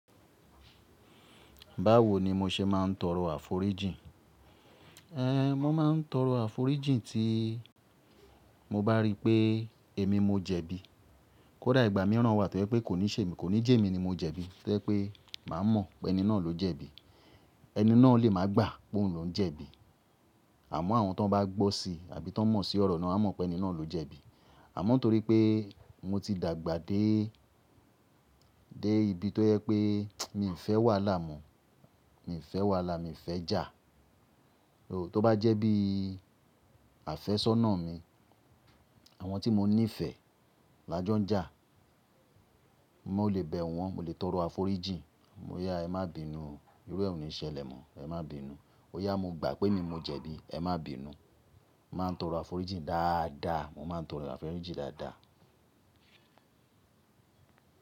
Báwo ni mo ṣe máa ń torọ àforíjìn? Ehn, mo máa ń torọ àforíjìn tí mo bá rí pé èmi mo jẹ̀bi. Kódà ìgbà mìíràn wà tó jẹ pé kò ní sè mí, kò ní jẹ̀ èmi ni mo jẹ̀bi. Tó jẹ́ pé máa mọ̀ pé ẹni náà ló jẹ̀bi. Ẹni náà lè máa gbà pé òun lòhún jẹ̀bi. Àmọ́ àwọn tí wọ́n bá gbọ́ si àbí tí wọ́n mọ̀ sí ọ̀rọ̀ náà á mọ̀ pé ẹni náà ló jẹ̀bi. Àmọ́ nítorí pé mo ti dàgbà dé, dé ibi tó jẹ pé mi ò fẹ́ wàhálà mọ́. Mi ì fẹ́ wàhálà, mi ì fẹ́ jà. Oò, tó bá jẹ́ bí àfẹ́sọ́nà mi, àwọn tí mo nífẹ̀ẹ́ lajọ́ ń jà, mo lè bẹ̀ wọn, mo lè torọ àforíjìn. Bóyà, ẹ má bínu o, irú ẹ ò ní ṣẹlẹ̀ mọ́, ẹ má bínu o. Ó yà mo gbà pé èmi ni mo jẹ̀bi, ẹ má bínu o. Mo màá n torọ àforíjìn dáadáa, mo máa ń torọ àforíjìn dáadáa.